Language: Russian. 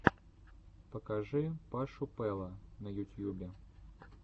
покажи пашу пэла на ютьюбе